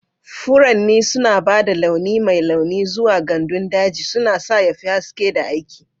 Furanni suna ba da launi mai launi zuwa gandun daji, suna sa ya fi haske da aiki.